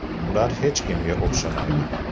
Ular hech kimga o‘xshamaydi.